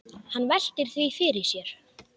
Hann veltir því fyrir sér.